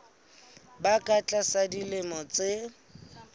ba ka tlasa dilemo tse